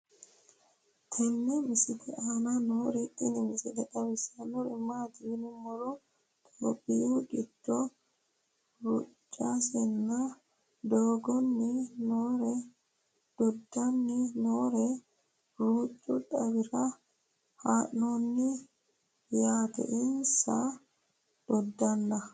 tenne misile aana noorina tini misile xawissannori maati yinummoro ithiopiyu giddo ruucasinne doddanni noore ruucu xawira haa'noonni yaatte insa dodaanna